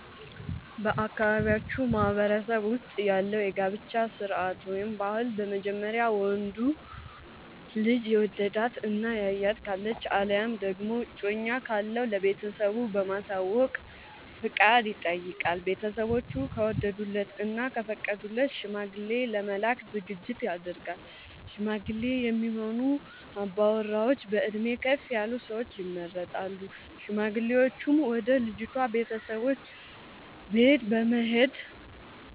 በአካባቢያችን ማህበረሰብ ውስጥ ያለው የጋብቻ ስርዓት/ ባህል በመጀመሪያ ወንዱ ልጅ የወደዳት እና ያያት ካለች አለያም ደግሞ እጮኛ ካለው ለቤተሰቦቹ በማሳወቅ ፍቃድ ይጠይቃል። ቤተስቦቹ ከወደዱለት እና ከፈቀዱለት ሽማግሌ ለመላክ ዝግጅት ይደረጋል። ሽማግሌ የሚሆኑ አባወራዎች በእድሜ ከፍ ያሉ ሰዎች ይመረጣሉ። ሽማግሌዎቹም ወደ ልጅቷ ቤተሰቦች በት በመሄድ